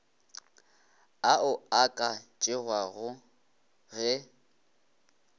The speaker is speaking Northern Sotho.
ao a ka tšewago ge